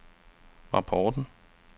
rapporten